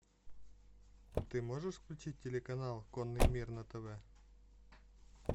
ты можешь включить телеканал конный мир на тв